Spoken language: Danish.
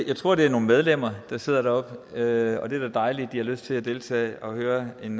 jeg tror det er nogle medlemmer der sidder deroppe og det er da dejligt at de har lyst til at deltage og høre en